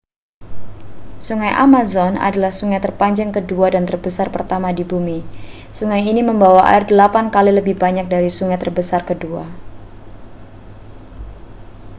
sungai amazon adalah sungai terpanjang kedua dan terbesar pertama di bumi sungai ini membawa air 8x lebih banyak dari sungai terbesar kedua